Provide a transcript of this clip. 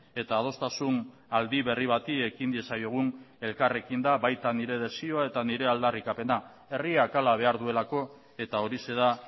eta adostasun aldi berri bati ekin diezaiogun elkarrekin da baita nire desioa eta nire aldarrikapena herriak hala behar duelako eta horixe da